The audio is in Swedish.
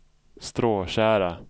Stråtjära